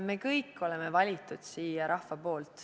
Meid kõiki on siia valinud rahvas.